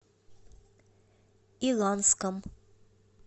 иланском